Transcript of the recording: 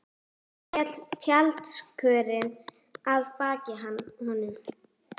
Svo féll tjaldskörin að baki honum.